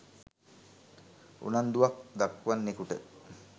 උනන්දුවක් දක්වන්නෙකුට